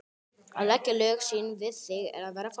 Að leggja lög sín við þig er að vera falskur.